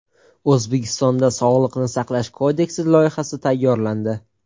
O‘zbekistonda Sog‘liqni saqlash kodeksi loyihasi tayyorlandi.